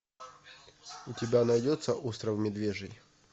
у тебя найдется остров медвежий